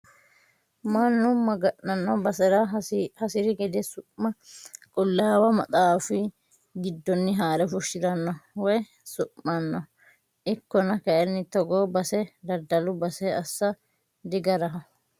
Mannu maga'nano basera hasiri gede su'ma qulaawu maxaafi giddoni haare fushirano woyi su'mano ikkonna kayinni togo base daddalu base assa digaraho.